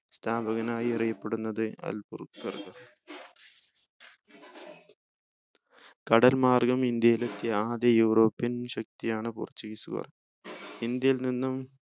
സ്ഥാപകനായി അറിയപ്പെടുന്നത് അൽബുക്കർക്കാണ് കടൽ മാർഗം ഇന്ത്യയിൽ എത്തിയ ആദ്യ european ശക്തിയാണ് portuguese കാർ ഇന്ത്യയിൽ നിന്നും